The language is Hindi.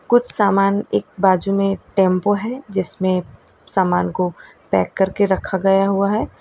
कुछ सामान एक बाजू में टेंपो है जिसमें समान को पैक करके रखा गया हुआ है।